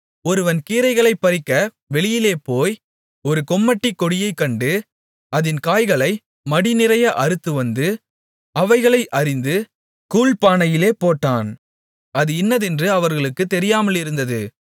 ஒருவன் கீரைகளைப் பறிக்க வெளியிலேபோய் ஒரு கொம்மட்டிக் கொடியைக் கண்டு அதின் காய்களை மடிநிறைய அறுத்துவந்து அவைகளை அரிந்து கூழ்ப்பானையிலே போட்டான் அது இன்னதென்று அவர்களுக்குத் தெரியாமலிருந்தது